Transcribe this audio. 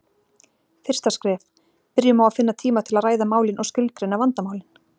Fyrsta skref: Byrjum á að finna tíma til að ræða málin og skilgreina vandamálin.